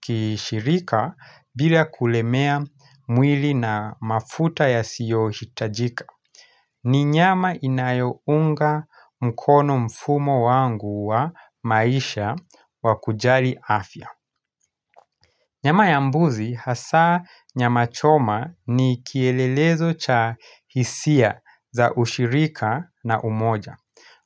kishirika bila kulemea mwili na mafuta yasiyohitajika. Ni nyama inayounga mkono mfumo wangu wa maisha wa kujali afya Nyama ya mbuzi hasaa nyama choma ni kielelezo cha hisia za ushirika na umoja